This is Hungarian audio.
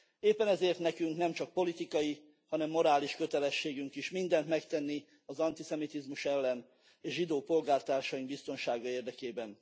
Éppen ezért nekünk nemcsak politikai, hanem morális kötelességünk is mindent megtenni az antiszemitizmus ellen és zsidó polgártársaink biztonsága érdekében.